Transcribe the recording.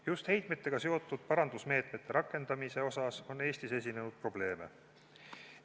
Just heitmetega seotud parandusmeetmete rakendamise puhul on Eestis esinenud probleeme.